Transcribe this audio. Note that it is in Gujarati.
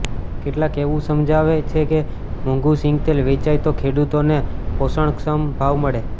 કેટલાક એવું સમજાવે છે કે મોંઘુ સિંગતેલ વેચાય તો ખેડૂતોને પોષણક્ષમ ભાવ મળે